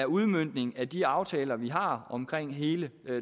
udmøntningen af de aftaler vi har om hele